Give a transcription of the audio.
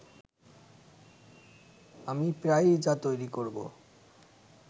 আমি প্রায়ই যা তৈরি করবো